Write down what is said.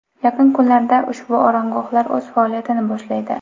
Yaqin kunlarda ushbu oromgohlar o‘z faoliyatini boshlaydi.